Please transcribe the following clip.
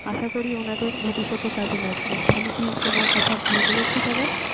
আশা করি ওনাদের ভবিষ্যতে কাজে লাগবে। আমি কি কোন কথা ভুল বলেছি দাদা?